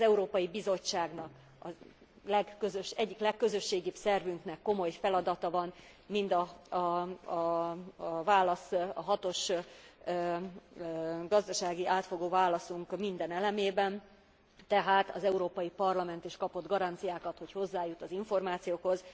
Az Európai Bizottságnak, az egyik legközösségibb szervünknek komoly feladata van a hatos gazdasági átfogó válaszunk minden elemében, tehát az Európai Parlament is kapott garanciákat, hogy hozzájut az információkhoz.